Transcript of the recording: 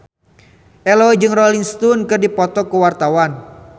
Ello jeung Rolling Stone keur dipoto ku wartawan